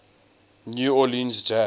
new orleans jazz